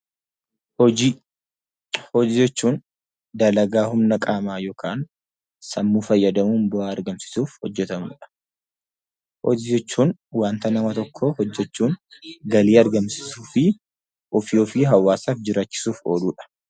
Hojii jechuun dalagaa humna qaamaa yookaan sammuu fayyadamuun bu'aa argamsiisuuf hojjetamanidha. Hojii jechuun waanta namni tokko hojjechuun galii argamsiisuu fi ofii fi hawaasa jiraachisuuf ooludha.